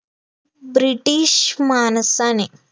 british माणसाने